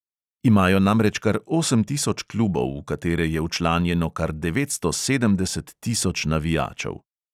Imajo namreč kar osem tisoč klubov, v katere je včlanjeno kar devetsto sedemdeset tisoč navijačev.